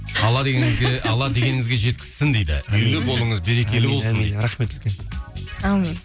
алла дегеніңізге жеткізсін дейді үйлі болыңыз берекелі болсын дейді рахмет үлкен әумин